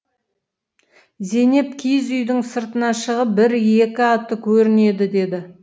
зейнеп киіз үйдің сыртына шығып бір екі атты көрінеді деді